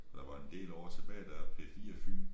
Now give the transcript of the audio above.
Der var en del år tilbage der P4 Fyn